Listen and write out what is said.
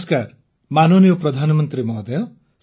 ନମସ୍କାର ମାନନୀୟ ପ୍ରଧାନମନ୍ତ୍ରୀ ମହୋଦୟ